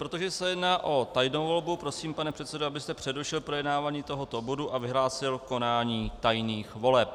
Protože se jedná o tajnou volbu, prosím, pane předsedo, abyste přerušil projednávání tohoto bodu a vyhlásil konání tajných voleb.